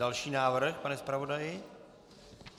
Další návrh, pane zpravodaji.